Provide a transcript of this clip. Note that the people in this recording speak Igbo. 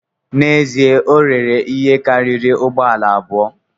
N’ezie, o rere ihe karịrị ụgbọ ala abụọ